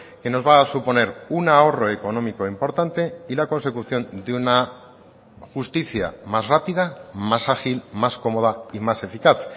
que nos va a suponer un ahorro económico importante y la consecución de una justicia más rápida más ágil más cómoda y más eficaz